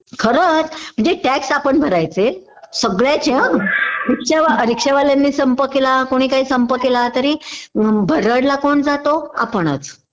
खरंच म्हणजे टॅक्स आपण भरायचे सगळ्याचे हं रिक्शावाल्यानी संप केला कोणी काही संप केला तरी भरडला कोण जातो आपणच